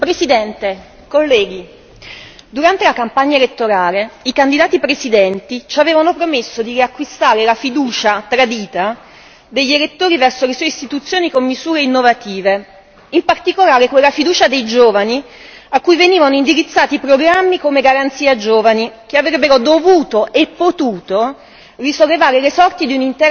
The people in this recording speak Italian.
Signora Presidente, onorevoli colleghi, durante la campagna elettorale i candidati presidenti ci avevano promesso di riacquistare la fiducia tradita degli elettori verso le istituzioni con misure innovative, in particolare con la fiducia dei giovani, a cui venivano indirizzati programmi come garanzia giovani che avrebbero dovuto e potuto